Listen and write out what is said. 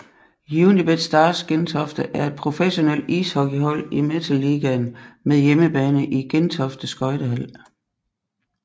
Unibet Stars Gentofte er et professionelt ishockeyhold i Metal Ligaen med hjemmebane i Gentofte Skøjtehal